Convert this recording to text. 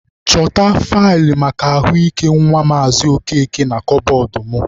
Chọta faịlụ maka ahụ ike nwa Maazị Okeke na kabọọdụ mụ.